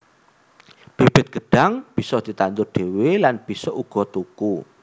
Bibit gêdhang bisa ditandur dhewé lan bisa uga tuku